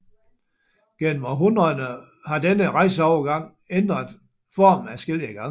Gennem århundrederne har denne rejseovergang ændret form adskillige gange